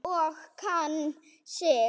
Og kann sig.